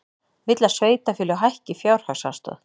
Vill að sveitarfélög hækki fjárhagsaðstoð